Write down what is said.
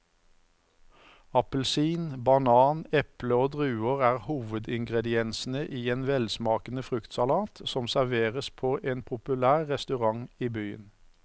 Appelsin, banan, eple og druer er hovedingredienser i en velsmakende fruktsalat som serveres på en populær restaurant i byen.